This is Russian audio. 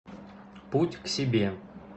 путь к себе